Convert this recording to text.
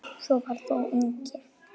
Svo var þó eigi.